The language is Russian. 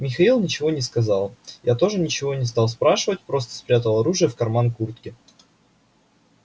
михаил ничего не сказал я тоже ничего не стал спрашивать просто спрятал оружие в карман куртки